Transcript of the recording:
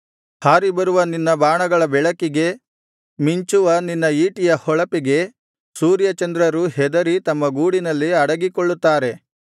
ಹಾರಿ ಬರುವ ನಿನ್ನ ಹಾರುವ ಬಾಣಗಳ ಬೆಳಕಿಗೆ ಥಳಥಳಿಸುವ ನಿನ್ನ ಮಿಂಚುವ ಈಟಿಯ ಹೊಳಪಿಗೆ ಸೂರ್ಯಚಂದ್ರರು ಹೆದರಿ ತಮ್ಮ ಗೂಡಿನಲ್ಲಿ ಅಡಗಿಕೊಳ್ಳುತ್ತಾರೆ